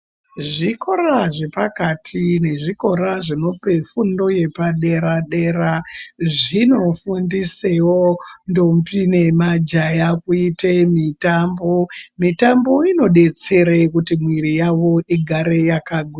Zvikora zve pakati ne zvikora zvinope fundo yepa dera dera zvino fundisewo ndombi ne majaya kuite mitambo mitambo ino detsere kuti mwiri yavo igare yaka gwinya.